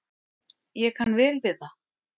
Ég kann vel við það.